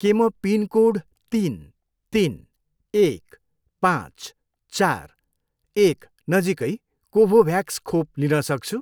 के म पिनकोड तिन, तिन, एक, पाँच, चार, एक नजिकै कोभोभ्याक्स खोप लिन सक्छु?